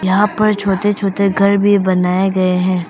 यहां पर छोटे छोटे घर भी बनाए गए है।